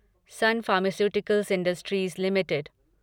sun Pharmaceuticals Industries limited